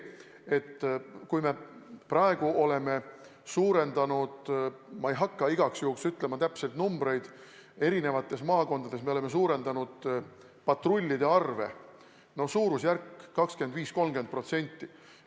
Praegu oleme suurendanud – ma ei hakka igaks juhuks ütlema täpseid numbreid – eri maakondades patrullide arvu 25–30%.